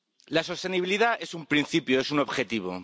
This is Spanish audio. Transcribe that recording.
La sostenibilidad es un principio, es un objetivo.